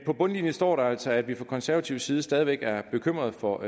på bundlinjen står altså at vi fra konservativ side stadig væk er bekymrede for